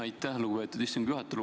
Aitäh, lugupeetud istungi juhataja!